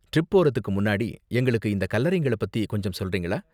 Trip போறதுக்கு முன்னாடி, எங்களுக்கு இந்த கல்லறைங்கள பத்தி கொஞ்சம் சொல்றீங்களா?